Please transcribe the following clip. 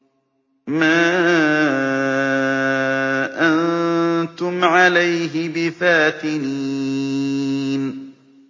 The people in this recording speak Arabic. مَا أَنتُمْ عَلَيْهِ بِفَاتِنِينَ